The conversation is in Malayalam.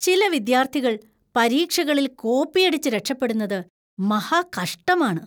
ചില വിദ്യാർത്ഥികൾ പരീക്ഷകളിൽ കോപ്പിയടിച്ച് രക്ഷപ്പെടുന്നത് മഹാകഷ്ടമാണ്.